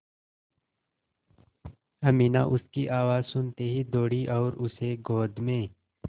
अमीना उसकी आवाज़ सुनते ही दौड़ी और उसे गोद में